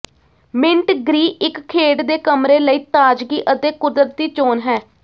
minute green ਇੱਕ ਖੇਡ ਦੇ ਕਮਰੇ ਲਈ ਤਾਜ਼ਗੀ ਅਤੇ ਕੁਦਰਤੀ ਚੋਣ ਹੈ